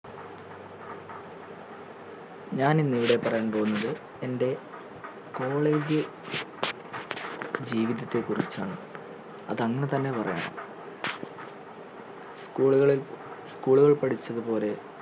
ഞാൻ ഇന്ന് ഇവിടെ പറയാൻ പോകുന്നത് എന്റെ college ജീവിതത്തെ കുറിച്ചാണ് അത് അങ്ങനെ തന്നെ പറയണം school ഉകളിൽ school കളിൽ പഠിച്ചത് പോലെ